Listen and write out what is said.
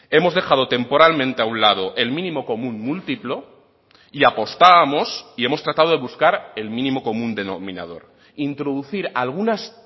hemos dejado temporalmente a un lado el mínimo común múltiplo y apostábamos y hemos tratado de buscar el mínimo común denominador introducir algunas